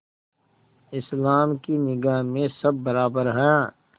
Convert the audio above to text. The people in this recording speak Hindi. इस्लाम की निगाह में सब बराबर हैं